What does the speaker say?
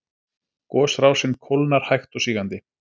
Gosrásin kólnar hægt og sígandi